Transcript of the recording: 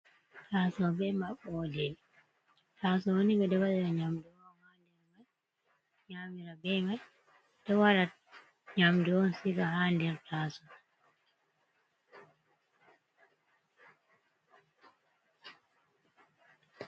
Taso be maɓode taaso ni ɓedo waɗira nyamdu on ha nder mai nyamira be mai ɗe waɗa nyamdu on ciga ha der taaso.